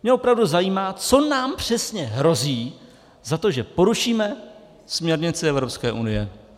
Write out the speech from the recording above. Mě opravdu zajímá, co nám přesně hrozí za to, že porušíme směrnici Evropské unie.